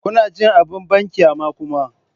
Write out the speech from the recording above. Kuna jin abin banƙyama kuma?